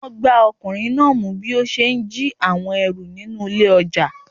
Wọn gbá ọkùnrin náà mú bí ó ṣe ń jí àwọn ẹrù nínú ilé ọjà.